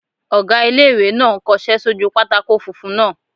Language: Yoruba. Ọgá ilé-ìwé náà n kọsẹ́ sójú pátákó funfun náà